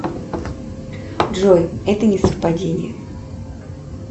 джой это не совпадение